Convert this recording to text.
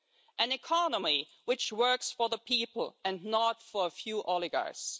an economy which works for the people and not for a few oligarchs